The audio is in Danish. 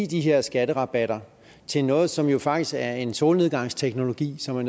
de her skatterabatter til noget som jo faktisk er en solnedgangsteknologi som